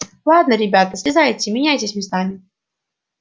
ладно ребята слезайте меняйтесь местами